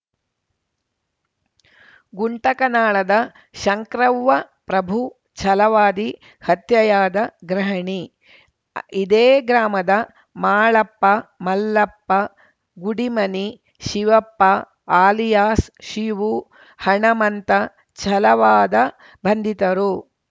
ಗುಂಟಕನಾಳದ ಶಂಕ್ರವ್ವ ಪ್ರಭು ಚಲವಾದಿ ಹತ್ಯೆಯಾದ ಗೃಹಿಣಿ ಇದೇ ಗ್ರಾಮದ ಮಾಳಪ್ಪ ಮಲ್ಲಪ್ಪ ಗುಡಿಮನಿ ಶಿವಪ್ಪ ಅಲಿಯಾಸ್‌ ಶಿವು ಹಣಮಂತ ಚಲವಾದ ಬಂಧಿತರು